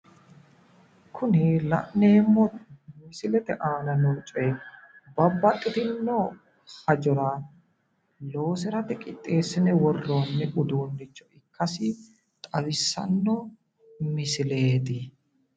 Kuni la'neemmo misilete aana noo coyi babbaxxitinno hajora loosirate qixxeessine worroonni uduunnicho ikkasi xawisanno misileeti.